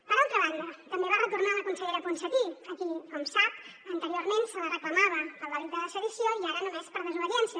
per altra banda també va retornar la consellera ponsatí a qui com sap anteriorment se la reclamava pel delicte de sedició i ara només per desobediència